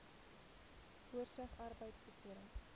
oorsig arbeidbeserings